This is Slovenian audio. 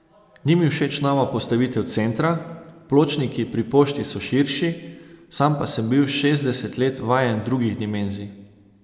Ni mi všeč nova postavitev centra, pločniki pri pošti so širši, sam pa sem bil šestdeset let vajen drugih dimenzij.